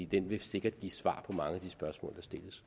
den vil sikkert give svar på mange af de spørgsmål